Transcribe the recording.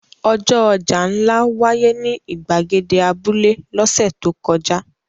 Ọjọ́ ọjà ńlá wáyé ní ìgbàgede abúlé lọ́sẹ̀ tó kọjá.